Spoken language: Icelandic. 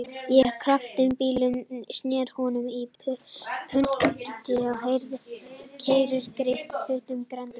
Ég gaf kraftmiklum bílnum inn, sneri honum á punktinum og keyrði greitt burt af Grandanum.